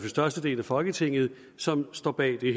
størstedelen af folketinget som står bag det